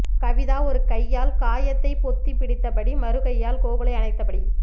கவிதா ஒரு கையால் காயத்தை பொத்திப் பிடித்தபடி மறுகையால் கோகுலை அணைத்தபடி